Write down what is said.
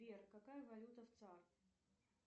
сбер какая валюта в цар